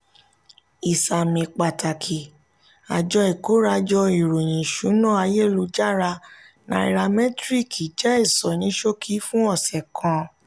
ìsàmì pàtàkì: àjọ ikorajo ìròyìn ìṣúná ayélujára náíràmetiriki jẹ ìsọníṣókí fún ọsẹ kan.